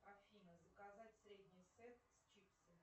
афина заказать средний сет с чипсами